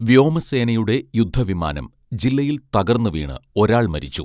വ്യോമസേനയുടെ യുദ്ധ വിമാനം ജില്ലയിൽ തകർന്ന് വീണ് ഒരാൾ മരിച്ചു